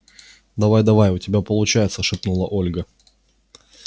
давай-давай у тебя получается шепнула ольга